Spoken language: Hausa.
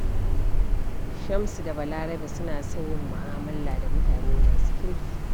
Shamsu da Balarabe suna son yin mu'amala da mutane masu kirki.